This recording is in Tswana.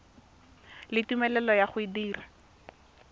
le tumelelo ya go dira